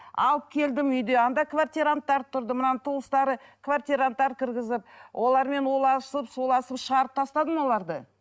алып келдім үйде анда квартиранттар тұрды мынаның туыстары квартиранттар кіргізіп олармен уласып шуласып шығарып тастадым оларды